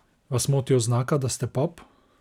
Vas moti oznaka, da ste pop?